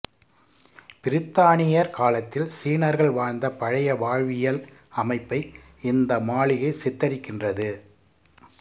பிரித்தானியர் காலத்தில் சீனர்கள் வாழ்ந்த பழைய வாழ்வியல் அமைப்பை இந்த மாளிகை சித்தரிக்கின்றது